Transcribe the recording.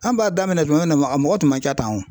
An b'a daminɛ tuma min a mɔgɔ tun ma ca tan o